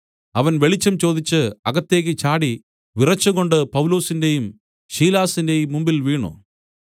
അവൻ വെളിച്ചം ചോദിച്ച് അകത്തേക്ക് ചാടി വിറച്ചുകൊണ്ട് പൗലൊസിന്റെയും ശീലാസിന്റെയും മുമ്പിൽ വീണു